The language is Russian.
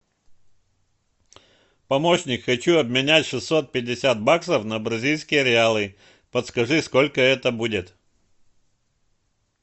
помощник хочу обменять шестьсот пятьдесят баксов на бразильские реалы подскажи сколько это будет